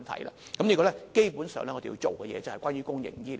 這方面，基本上，我們要做的就是關於公營醫療。